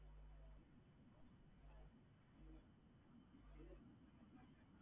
அதுக்கு அப்புறம் நீங்க வந்து என்ன business பண்றிங்க